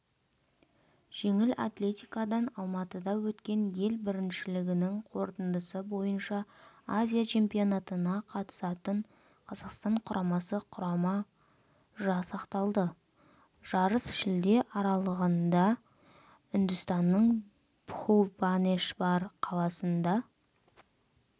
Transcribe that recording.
жеңіл атлетикадан алматыда өткен ел біріншілігінің қорытындысы бойынша азия чемпионатына қатысатын қазақстан құрамасы құрамы жасақталды жарыс шілде аралығында үндістанның бхубанешбар қаласында